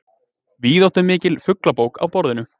Víðáttumikil fuglabók á borðinu.